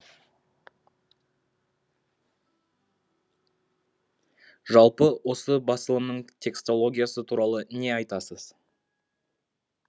жалпы осы басылымның текстологиясы туралы не айтасыз